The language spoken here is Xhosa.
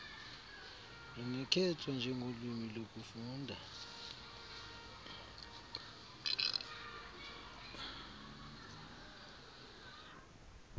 lungakhethwa njengolwimi lokufunda